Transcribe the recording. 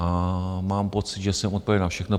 A mám pocit, že jsem odpověděl na všechno.